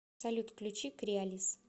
салют включи креалис